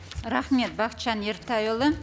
рахмет бақытжан ертайұлы